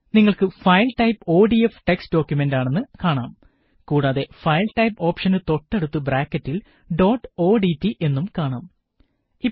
നിങ്ങള്ക്ക് file type ODF text ഡോക്കുമന്റ്ആണെന്ന് കാണാം കൂടാതെ ഫയല് ടൈപ് ഓപ്ഷനു തൊട്ടടുത്ത് ബ്രാക്കറ്റില് ഡോട്ട് ഓഡ്റ്റ് എന്നും കാണാം